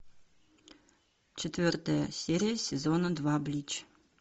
четвертая серия сезона два блич